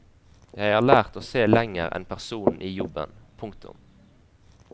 Jeg har lært å se lenger enn personen i jobben. punktum